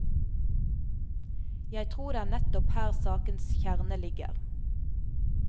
Jeg tror det er nettopp her sakens kjerne ligger.